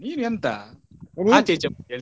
ನೀನೆಂತ .